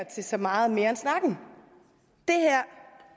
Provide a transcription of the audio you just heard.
til så meget mere end snakken